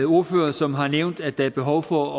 ordførere som har nævnt at der er behov for